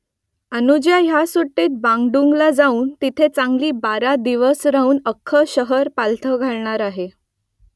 अनुजा ह्या सुट्टीत बांडुंगला जाऊन तिथे चांगली बारा दिवस राहून अख्खं शहर पालथं घालणार आहे